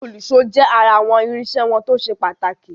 Òlùṣó jẹ́ ará àwọn irinṣẹ́ wọn tó ṣe pàtàkì.